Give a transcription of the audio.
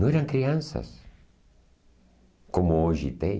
Não eram crianças, como hoje tem.